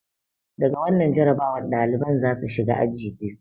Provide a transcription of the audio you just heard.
Da ga wannan jarrabawar, daliban za su shiga aji biyu.